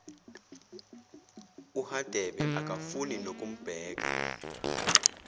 uhadebe akafuni nokumbheka